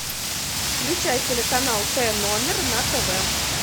включай телеканал т номер на тв